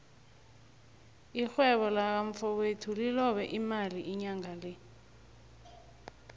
irhwebo laka mfowethu lilobe imali inyangale